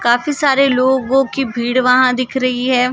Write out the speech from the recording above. काफी सारे लोगो की भीड़ वहां दिख रही है।